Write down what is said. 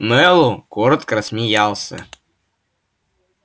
мэллоу коротко рассмеялся